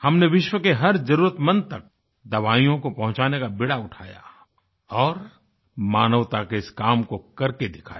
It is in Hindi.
हमने विश्व के हर जरूरतमंद तक दवाइयों को पहुँचाने का बीड़ा उठाया और मानवता के इस काम को करके दिखाया